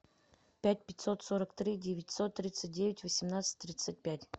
пять пятьсот сорок три девятьсот тридцать девять восемнадцать тридцать пять